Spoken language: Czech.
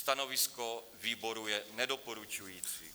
Stanovisko výboru je nedoporučující.